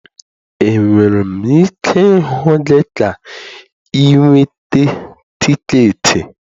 Enwere m ike ịhụ gị ka ị nweta tiketi?